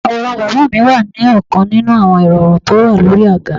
Àwòrán bàbá mi wà ní ọkan ninu àwọn irọrun tó wà lórí àga.